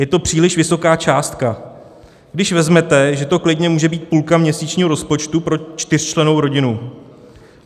Je to příliš vysoká částka, když vezmete, že to klidně může být půlka měsíčního rozpočtu pro čtyřčlennou rodinu.